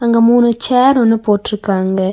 அங்க மூணு சேர் ஒன்னு போட்ருக்காங்க.